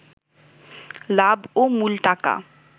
লাভ ও মূল টাকা